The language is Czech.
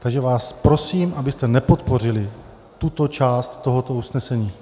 Takže vás prosím, abyste nepodpořili tuto část tohoto usnesení.